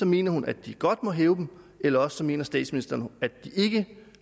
mener hun at de godt må hæve dem eller også mener statsministeren at de ikke